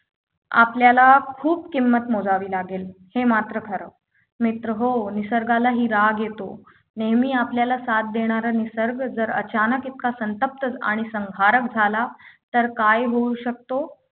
आपल्याला खूप किंमत मोजावी लागेल हे मात्र खरं मित्रहो निसर्गालाही राग येतो नेहमी आपल्याला साथ देणारी निसर्ग जरा अचानक इतका संतप्त आणि संहारक झाला तर काय होऊ शकतो